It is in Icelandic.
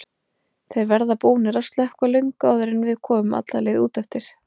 Þeir verða búnir að slökkva löngu áður en við komum alla leið út eftir.